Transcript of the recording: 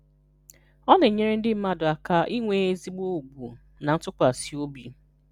Ọ na-enyere ndị mmadụ aka inwe ezigbo ugwu na ntụkwasị obi.